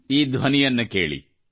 ಈ ಧ್ವನಿಯನ್ನು ಕೇಳಿರಿ